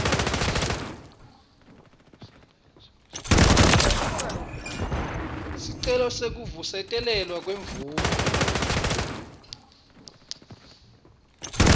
sicelo sekuvusetelwa kwemvumo